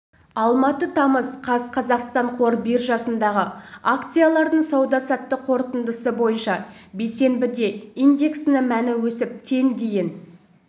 алматы тамыз қаз қазақстан қор биржасындағы акциялардың сауда-саттық қорытындысы бойынша бейсенбіде индексінің мәні өсіп тен дейін